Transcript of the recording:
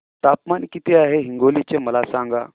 तापमान किती आहे हिंगोली चे मला सांगा